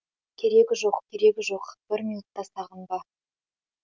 керегі жоқ керегі жоқ бір минутта сағынба